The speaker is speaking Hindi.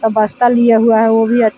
बस्ता लिए हुआ है वो भी अच्छ--